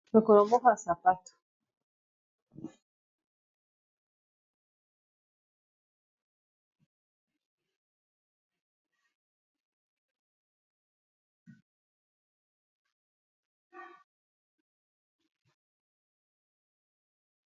Lokolo moko ya sapato.